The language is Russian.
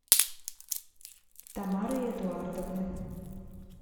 тамары эдуардовны